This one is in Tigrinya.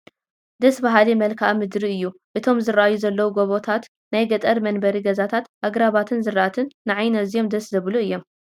ደስ በሃሊ መልክአ ምድሪ እዩ፡፡ እቶም ዝርአዩ ዘለዉ ጎቦታቱ፣ ናይ ገጠር መንበሪ ገዛታት፣ ኣግራባትን ዝራእትን ንዓይኒ ኣዝዮም ደስ ዘብሉ እዮም፡፡